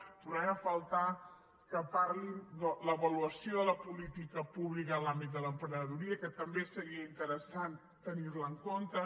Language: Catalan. hi trobem a faltar que parlin de l’avaluació de la política pública en l’àmbit de l’emprenedoria que també seria interessant tenir la en compte